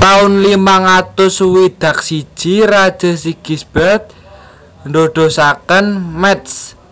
Taun limang atus swidak siji Raja Sigisbert ndadosaken Métz